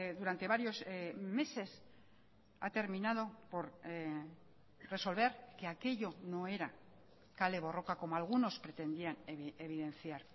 durante varios meses ha terminado por resolver que aquello no era kale borroka como algunos pretendían evidenciar